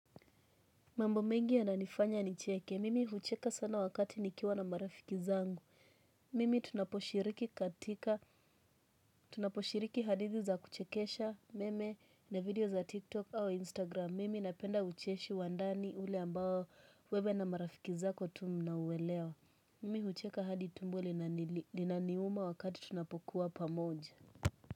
Mambo mengi yananifanya nicheke, mimi hucheka sana wakati nikiwa na marafiki zangu. Mimi tunaposhiriki katika, tunaposhiriki hadithi za kuchekesha, meme na video za tiktok au instagram, mimi napenda ucheshi wa ndani ule ambao wewe na marafiki zako tu mnauwelewa. Mimi hucheka hadi tumbo linaniuma wakati tunapokuwa pamoja.